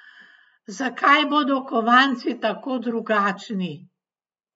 Zakaj bodo kovanci tako drugačni?